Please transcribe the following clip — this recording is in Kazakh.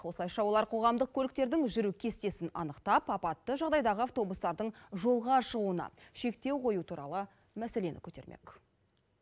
осылайша олар қоғамдық көліктердің жүру кестесін анықтап апатты жағдайдағы автобустардың жолға шығуына шектеу қою туралы мәселені көтермек